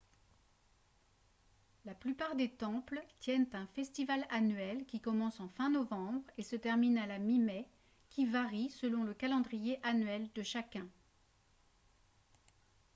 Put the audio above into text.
la plupart des temples tiennent un festival annuel qui commence en fin novembre et se termine à la mi-mai qui varie selon le calendrier annuel de chacun